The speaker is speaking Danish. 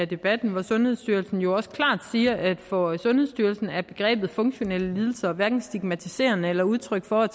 debatten hvori sundhedsstyrelsen jo også klart siger at for sundhedsstyrelsen er begrebet funktionelle lidelser hverken stigmatiserende eller udtryk for at